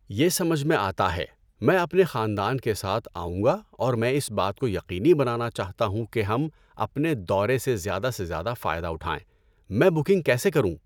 یہ سمجھ میں آتا ہے۔ میں اپنے خاندان کے ساتھ آؤں گا اور میں اس بات کو یقینی بنانا چاہتا ہوں کہ ہم اپنے دورے سے زیادہ سے زیادہ فائدہ اٹھائیں۔ میں بکنگ کیسے کروں؟